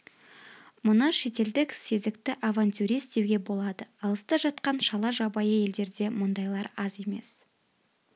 мұны шетелдік сезікті авантюрист деуге болады алыста жатқан шала жабайы елдерде мұндайлар аз емес